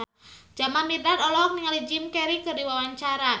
Jamal Mirdad olohok ningali Jim Carey keur diwawancara